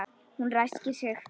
Hún ræskir sig.